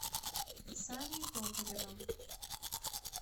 саней токаревым